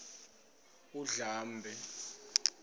undlambe